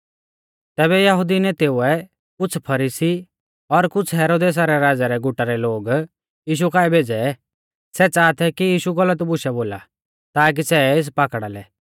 तैबै यहुदी नेतेउऐ कुछ़ फरीसी और कुछ़ हेरोदेसा रै राज़ै रै गुटा रै लोग यीशु काऐ भेज़ै सै च़ाहा थै कि यीशु गलत बुशै बोला ताकि सै एस पाकड़ा लै